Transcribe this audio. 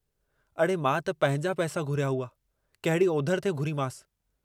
हिनजी हालत, वेनतियुनि ऐं पंहिंजे समाज मथां आयल विरहाङे जे मुसीबतुनि खे याद कन्दे, मूं पंहिंजी रज़ामंदी हिनखे डिनी हुई।